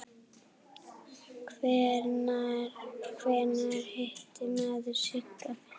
Hvenær hitti maður Sigga fyrst?